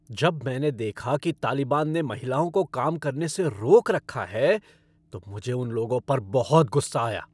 जब मैंने देखा कि तालिबान ने महिलाओं को काम करने से रोक रखा है, तो मुझे उन लोगों पर बहुत गुस्सा आया।